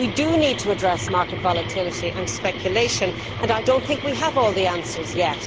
We do need to address market volatility and speculation and I do not think we have all the answers yet.